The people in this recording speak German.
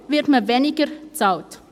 Deshalb wird man weniger bezahlt.